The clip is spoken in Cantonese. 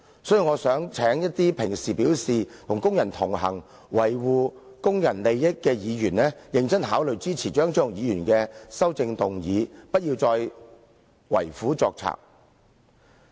所以，我想請一些經常表示與工人同行，維護工人利益的議員，認真考慮支持張超雄議員的修正案，不要再為虎作倀。